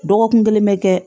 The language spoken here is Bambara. Dɔgɔkun kelen bɛ kɛ